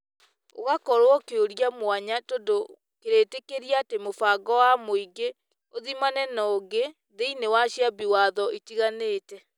ũgakorwo kĩũria mwanya tondũ kĩrĩtikĩria atĩ mũbango wa mũingĩ ũthimane na ũngĩ thiĩnĩ wa ciambi watho itigaine.